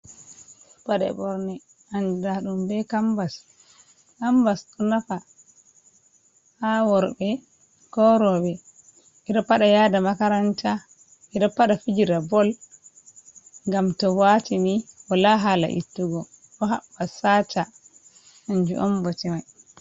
Paɗe ɓorne andira ɗum be kambas, ɗo nafa ha worɓe, ko roɓɓe, ɓeɗo paɗa yada makaranta, ɓeɗa pada fijira bol, ngam to watini wala hala ittugo ɗo haɓɓa sata kanjum on bote mai.